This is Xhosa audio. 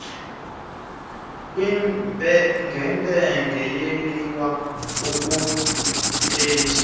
kwimpengempenge yeliwa akuthethi